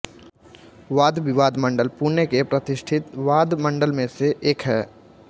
वादविवाद मंडल पुणे के प्रतिष्ठीत वाद मंडल में से एक है